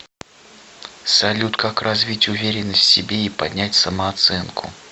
салют как развить уверенность в себе и поднять самооценку